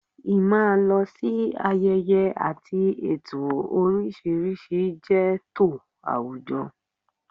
Ì máa lọ sí ayẹyẹ àti ètò oríṣiríṣi jẹ́ tò àwùjọ